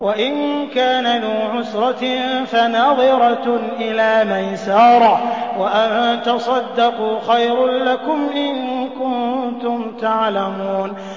وَإِن كَانَ ذُو عُسْرَةٍ فَنَظِرَةٌ إِلَىٰ مَيْسَرَةٍ ۚ وَأَن تَصَدَّقُوا خَيْرٌ لَّكُمْ ۖ إِن كُنتُمْ تَعْلَمُونَ